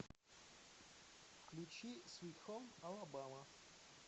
включи свит хоум алабама